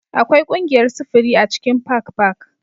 Akwai ƙungiyar sufuri a cikin Park Park